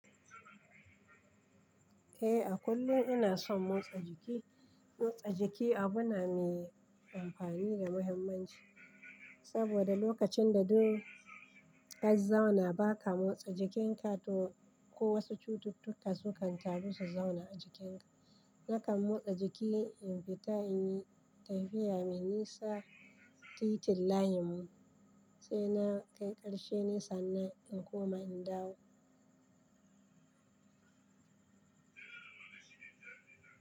Eh, a kullum ina son motsa jiki. Motsa jiki abu ne mai amfani da muhimmanci, saboda lokacin da duk kazzauna baka motsa jikinka ko wasu cututtuka sukan taru su zauna a jikinka. Nakan motsa jiki in fita in yi tafiya mai nisa, titin layinmu sai na kai ƙarshe nesa nan in koma in dawo.